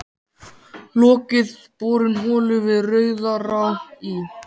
Lokið borun holu við Rauðará í